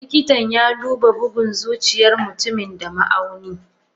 Likitan yaduba bugun zuciyar mutumin da ma auni.